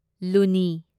ꯂꯨꯅꯤ